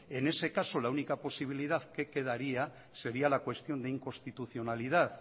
en ese caso la única posibilidad que quedaría sería la cuestión de inconstitucionalidad